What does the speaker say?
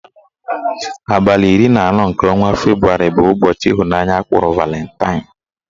Abalị iri na anọ nke ọnwa Febrụwarị bụ ụbọchị ịhụnanya akpọrọ Valantain